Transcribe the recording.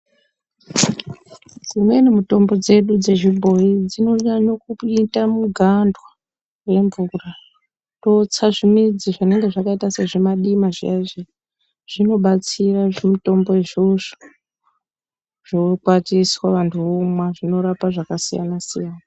Dzimweni mitombo dzedu dzezvimboi dzinonyanya kuita mugandwa yemvura. Toutsa zvimidzi zvinenge zvakaita sezvimadima zviya-zviya, zvinobatsira zvimutombo izvozvo, zvokwatiswa vantu vamwa zvinorapa zvakasiyana-siyana.